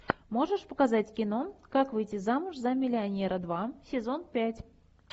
можешь показать кино как выйти замуж за миллионера два сезон пять